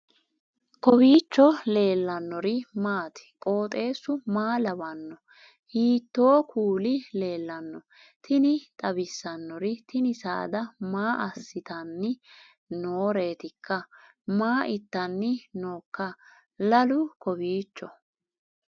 kowiicho leellannori maati ? qooxeessu maa lawaanno ? hiitoo kuuli leellanno ? tini xawissannori tini saada maa assitanni nooreetikka maa itanni nooikka lalu kowiicho